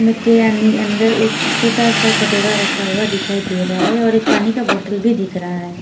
मग के यानि अंदर एक छोटा सा कटोरा रखा हुआ दिखाई दे रहा है और एक पानी का भी बोटल भी दिख रहा है।